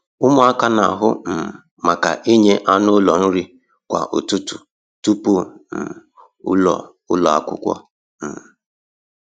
Ụmụaka n'ahụ um maka inye anụ ụlọ nri kwa ụtụtụ tupu um ụlọ ụlọ akwụkwọ. um